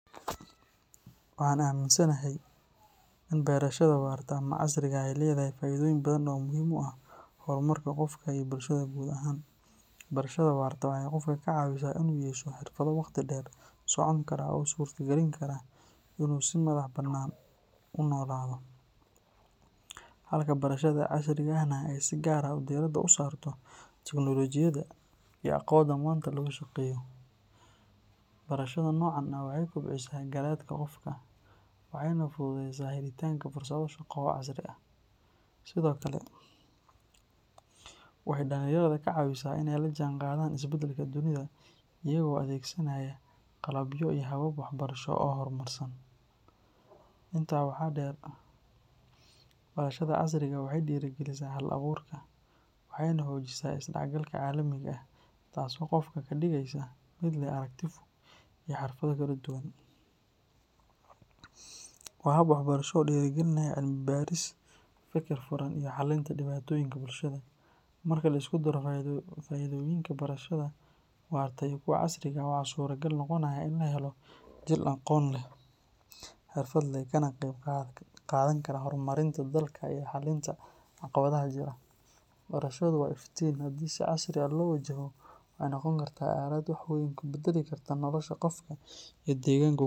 Waxaan aaminsanahay in berashada waarta ama casriga ah ay leedahay faa'iidooyin badan oo muhiim u ah horumarka qofka iyo bulshada guud ahaan. Barashada waarta waxay qofka ka caawisaa in uu yeesho xirfado waqti dheer socon kara oo u suurtagelin kara in uu si madax-bannaan u noolaado, halka barashada casriga ahna ay si gaar ah diiradda u saarto teknoolojiyadda iyo aqoonta maanta lagu shaqeeyo. Barashada noocan ah waxay kobcisaa garaadka qofka, waxayna fududeysaa helitaanka fursado shaqo oo casri ah. Sidoo kale, waxay dhalinyarada ka caawisaa in ay la jaanqaadaan isbeddelka dunida, iyagoo adeegsanaya qalabyo iyo habab waxbarasho oo horumarsan. Intaa waxaa dheer, barashada casriga ah waxay dhiirrigelisaa hal-abuurka, waxayna xoojisaa isdhexgalka caalamiga ah, taas oo qofka ka dhigaysa mid leh aragti fog iyo xirfado kala duwan. Waa hab waxbarasho oo dhiirrigeliya cilmi baaris, feker furan, iyo xalinta dhibaatooyinka bulshada. Marka la isku daro faa'iidooyinka barashada waarta iyo kuwa casriga ah, waxaa suuragal noqonaya in la helo jiil aqoon leh, xirfad leh, kana qayb qaadan kara horumarinta dalka iyo xallinta caqabadaha jira. Barashadu waa iftiin, haddii si casri ah loo wajaho waxay noqon kartaa aalad wax weyn ka beddeli karta nolosha qofka iyo deegaanka uu ku.